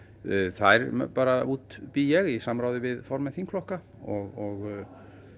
þær bara útbý ég í samráði við formenn þingflokka og